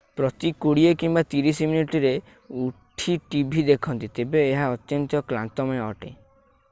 ପ୍ରତି କୋଡ଼ିଏ କିମ୍ବା ତିରିଶ ମିନିଟରେ ଉଠି ଟିଭି ଦେଖନ୍ତି ତେବେ ଏହା ଅତ୍ୟନ୍ତ କ୍ଲାନ୍ତମୟ ଅଟେ